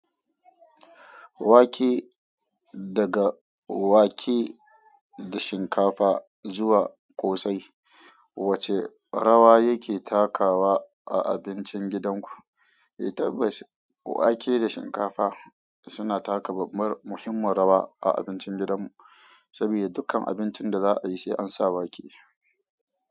Wake daga wake da shinkafa zuwa ƙosai, wace rawa yake takawa a abincin gidanku? Tabbas, wake da shinkafa suna taka babbar muhimman rawa a abincin gidanmu, sabida dukkan abincin da za a yi sai an sa wake.